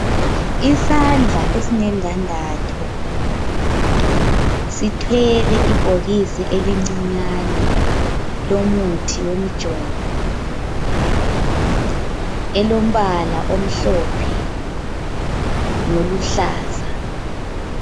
Isandla esilendandatho sithwele ibhokisi elincinyane lomuthi wemijovo ,elombala omhlophe loluhlaza.